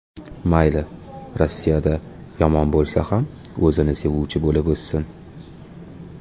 Mayli Rossiyada, yomon bo‘lsa ham, o‘zini sevuvchi bo‘lib o‘ssin.